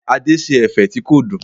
Adé ṣe ẹ̀fẹ̀ tí kò dùn.